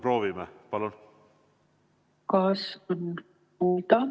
Proovime, palun!